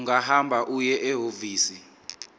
ungahamba uye ehhovisi